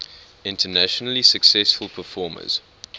internationally successful performers